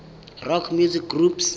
rock music groups